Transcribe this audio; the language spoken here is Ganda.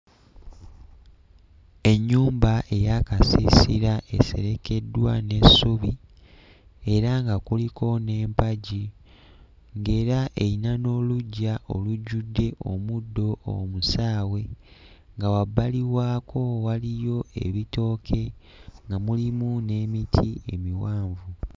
Ennyumba eya kasiisira eserekeddwa n'essubi era nga kuliko n'empagi ng'era eyina n'oluggya olujjudde omuddo omusaawe nga wabbali waako waliyo ebitooke nga mulimu n'emiti emiwanvu.